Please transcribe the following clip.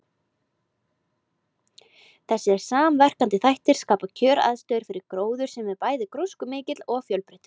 Þessir samverkandi þættir skapa kjöraðstæður fyrir gróður sem er bæði gróskumikill og fjölbreyttur.